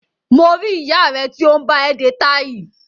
Mo rí ìyá rẹ tí ó ń bá ẹ de táì